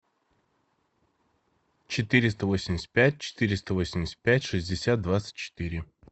четыреста восемьдесят пять четыреста восемьдесят пять шестьдесят двадцать четыре